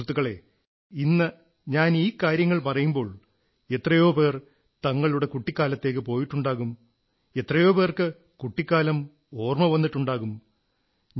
സുഹൃത്തുക്കളേ ഇന്ന് ഞാൻ ഈ കാര്യങ്ങൾ പറയുമ്പോൾ എത്രയോ പേർ തങ്ങളുടെ കുട്ടിക്കാലത്തേക്കു പോയിട്ടുണ്ടാകും എത്രയോ പേർക്ക് കുട്ടിക്കാലം ഓർമ്മ വന്നിട്ടുണ്ടാകും